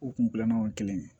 U kun gilanna o ye kelen ye